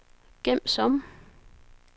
gem som